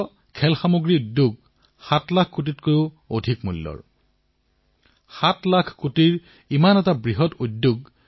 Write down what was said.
খেলাসামগ্ৰীৰ সৈতে আমি দুটা কাম কৰিব পাৰো নিজৰ গৌৰৱশালী অতীতক নিজৰ জীৱনলৈ পুনৰ ঘূৰাই আনিব পাৰো আৰু নিজৰ স্বৰ্ণিম ভৱিষ্যতো গঢ়িব পাৰো